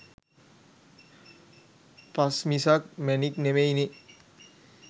පස් මිසක් මැණික් නෙමෙයි නේ.